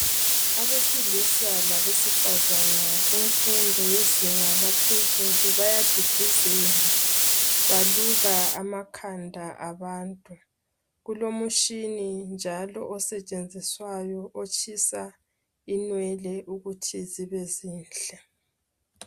Abesilisa labesifazane bemfundo yezinga laphezulu bayadidizela. Baluka amakhanda abantu. Kulomtshina njalo osetshenziswayo, otshisa inwele ukuthi zibe zinhle.